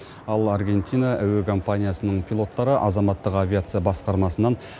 ал аргентина әуекомпаниясының пилоттары азаматтық авиация басқармасынан